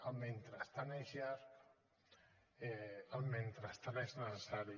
el mentrestant és llarg el mentrestant és necessari